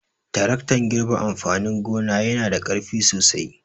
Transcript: Taraktan girbe amfanin gona yana da ƙarfi sosai.